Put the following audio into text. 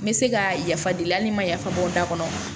N bɛ se ka yafa deli hali ni n ma yafa o da kɔnɔ